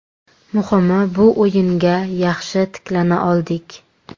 Muhimi bu o‘yinga yaxshi tiklana oldik.